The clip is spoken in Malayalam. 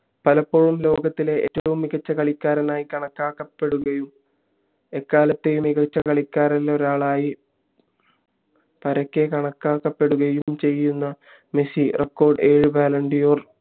പലപ്പോഴും ലോകത്തിലെ ഏറ്റവും മികച്ച കളിക്കാരനായി കണക്കാക്കപ്പെടുകയും എക്കാലത്തെയും മികച്ച കളിക്കാരിലൊരാളായി പരക്കെ കണക്കാക്കപ്പെടുകയും ചയ്യുന മെസ്സി record ഏഴ് ballon d'or